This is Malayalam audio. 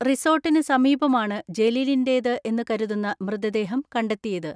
റിസോർട്ടിന് സമീപമാണ് ജലീലിന്റേതെന്ന് കരുതുന്ന മൃതദേഹം കണ്ടെത്തിയത്.